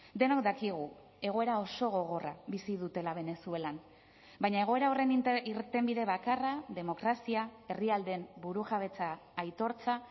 denok dakigu egoera oso gogorra bizi dutela venezuelan baina egoera horren irtenbide bakarra demokrazia herrialdeen burujabetza aitortza